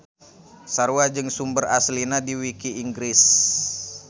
Sarua jeung sumber aslina di wiki Inggris.